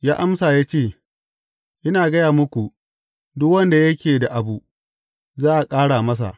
Ya amsa ya ce, Ina gaya muku, duk wanda yake da abu, za a ƙara masa.